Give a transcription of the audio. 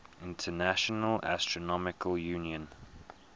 international astronomical union